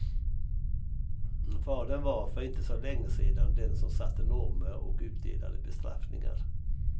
Fadern var, för inte så länge sedan, den som satte normer och utdelade bestraffningar.